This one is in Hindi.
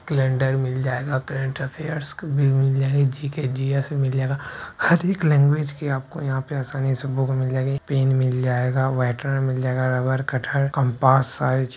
कैलेंडर मिल जायेगा मिल जायेंगे जी.के जी.एस मिल जाएगा अधिक लैंग्वेजके आपको यहा पे आसानीसे बुक मिल जायेंगे पेन मिल जायेगा व्हाइटनर मिल जायेगा रबर कटर कम्पास सारी चीज --